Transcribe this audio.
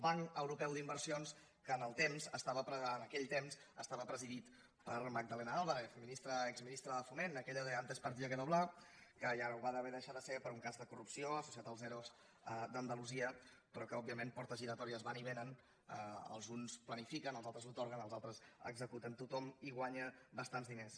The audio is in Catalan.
banc europeu d’inversions que en aquell temps esta·va presidit per magdalena álvarez exministra de fo·ment aquella de antes partida que doblá que ja ho va haver de deixar de ser per un cas de corrupció asso·ciat als ero d’andalusia però que òbviament portes giratòries van i vénen els uns planifiquen els altres atorguen els altres executen tothom hi guanya bas·tants diners